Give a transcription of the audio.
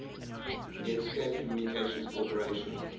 netscape communications corporation